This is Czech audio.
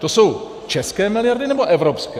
To jsou české miliardy, nebo evropské?